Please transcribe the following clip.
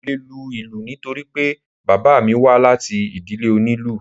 Mo le lu ìlù nítorí pé bàbá mi wá láti ìdílé oní ìlù.